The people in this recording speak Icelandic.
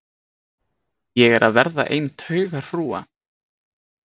Ég er að verða ein taugahrúga.